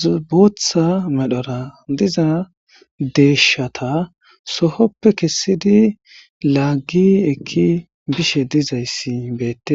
zbooththa medhora diza deeshata sohoppe kessidi laaggi ekki bishe dizayssi beettes.